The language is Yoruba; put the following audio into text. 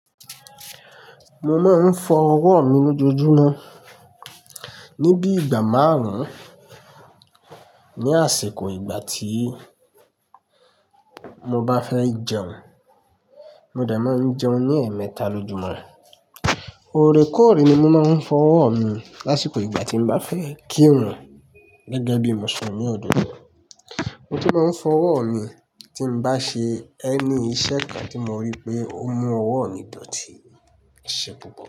Mo máa ń fọ ọwọ́ mi lójoojúmọ́ ní bí ìgbà márùn-ún. Ni àsìkò ìgbà tí mo bá fẹ́ jẹun, mo dẹ̀ máa ń jẹun ní ẹ̀ẹ̀mẹta lójoojúmọ́. Òrèkóòrè ni mo máa ń fọ ọwọ́ mi lásìkò ìgbà tí mo bá fẹ́ kírun gẹ́gẹ́ bí mo sọ ní ọ̀dún. Mo tún máa ń fọ ọwọ́ mi tí mo bá ṣe ẹni iṣẹ́ kan tí mo rí pé ó mú ọwọ́ mi dọ̀tí. E sé gbogbo?